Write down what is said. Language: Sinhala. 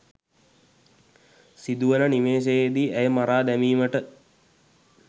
සිදුවන නිමේෂයේදී ඇය මරා දැමීමට